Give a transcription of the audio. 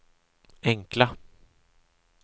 enkla